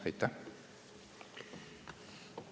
Aitäh!